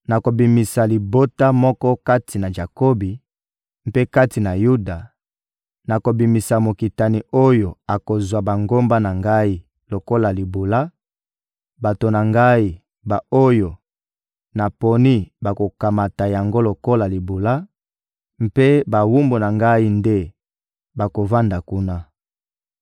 Nakobimisa libota moko kati na Jakobi; mpe kati na Yuda, nakobimisa mokitani oyo akozwa bangomba na Ngai lokola libula; bato na Ngai, ba-oyo naponi bakokamata yango lokola libula, mpe bawumbu na Ngai nde bakovanda kuna.